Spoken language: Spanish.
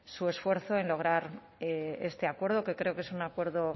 su esfuerzo en lograr este acuerdo que creo que es un acuerdo